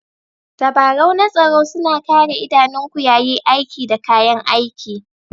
Tabarau na tsaro suna Kare idanunku yayi aiki da kayan aiki.